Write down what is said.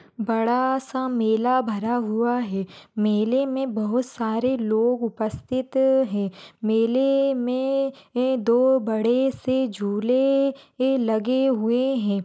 बड़ा सा मेला भरा हुआ है मेले मे बहुत सारे लोग उपस्थित है मेले मे दो बड़े से झूले लगे हुए है।